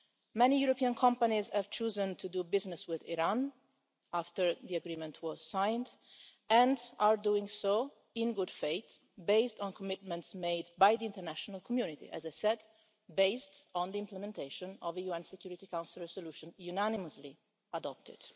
Many European companies have chosen to do business with Iran after the agreement was signed and are doing so in good faith, based on commitments made by the international community, as I said, based on the implementation of the UN Security Council resolution unanimously adopted.